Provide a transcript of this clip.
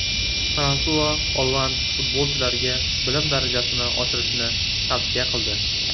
Fransua Olland futbolchilarga bilim darajasini oshirishni tavsiya qildi.